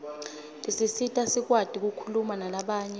tisisita sikwati kukhuluma nalabanye